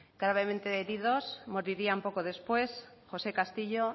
gravemente heridos morirían poco después josé castillo